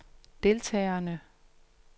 deltagerne